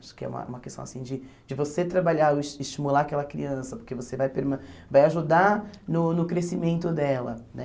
Acho que é uma uma questão assim, de de você trabalhar, es estimular aquela criança, porque você vai perma vai ajudar no no crescimento dela, né?